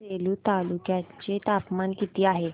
आज सेलू तालुक्या चे तापमान किती आहे